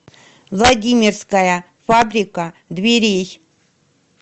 владимирская фабрика дверей